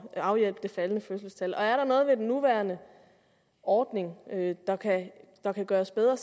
at afhjælpe det faldende fødselstal og er der noget ved den nuværende ordning der kan gøres bedre